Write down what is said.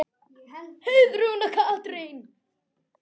Heiðrún og Katrín.